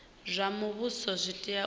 zwa muvhuso zwi tea u